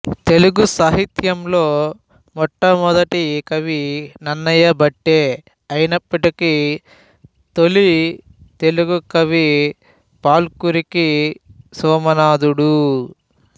తెలుగు సాహిత్యంలో మొట్టమొదటి కవి నన్నయభట్టే అయినప్పటికీ తొలి తెలుగుకవి పాల్కురికి సోమనాధుడు